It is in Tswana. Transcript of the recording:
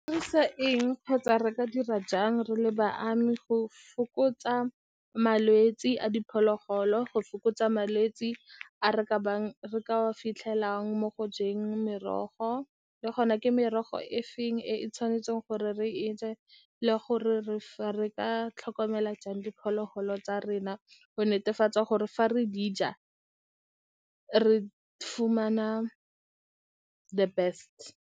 Sa eng kgotsa re ka dira jang re le go fokotsa malwetse a diphologolo, go fokotsa malwetse a re a fitlhelang mo go jeng merogo, le gona ke merogo e feng e e tshwanetseng gore re je, le gore re re ka tlhokomela jang diphologolo tsa rena go netefatsa gore fa re di ja re fumana the best.